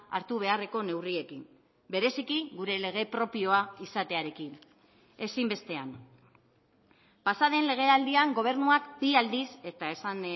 hartu beharreko neurriekin bereziki gure lege propioa izatearekin ezinbestean pasaden legealdian gobernuak bi aldiz eta esan